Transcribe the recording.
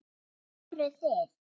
Voruð þið.